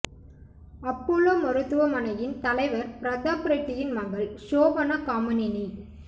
Apollo மருத்துவ மனையின் தலைவர் பிரதாப் ரெட்டியின் மகள் ஷோபனா காமினினி